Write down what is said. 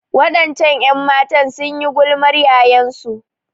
Waɗancan 'yanmatan sun yi gulmar yayansu.